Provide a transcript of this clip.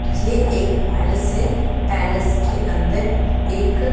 ये एक पैलेस है पैलेस के अंदर एक--